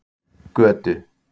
Götu